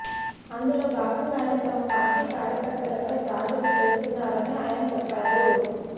అందులో భాగంగానే తమ పార్టీ కార్యకర్తలపై దాడులు చేస్తున్నారని ఆయన చెప్పారు